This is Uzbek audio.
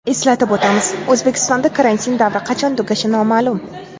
Eslatib o‘tamiz, O‘zbekistonda karantin davri qachon tugashi noma’lum .